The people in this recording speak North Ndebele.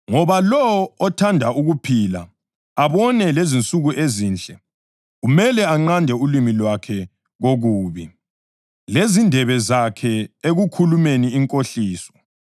Ngoba, “Lowo othanda ukuphila abone lensuku ezinhle kumele anqande ulimi lwakhe kokubi lezindebe zakhe ekukhulumeni inkohliso.